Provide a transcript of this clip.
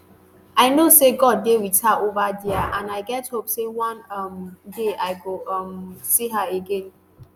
i know say god dey with her over dia and i get hope say one um day i go um see her again